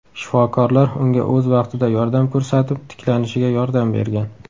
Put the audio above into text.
Shifokorlar unga o‘z vaqtida yordam ko‘rsatib, tiklanishiga yordam bergan.